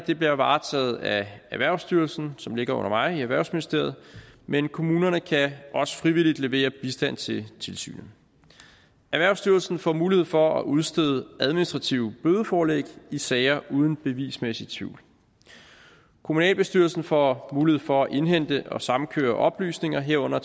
bliver varetaget af erhvervsstyrelsen som ligger under mig i erhvervsministeriet men kommunerne kan også frivilligt levere bistand til tilsynet erhvervsstyrelsen får mulighed for at udstede administrative bødeforlæg i sager uden bevismæssig tvivl kommunalbestyrelserne får mulighed for at indhente og samkøre oplysninger herunder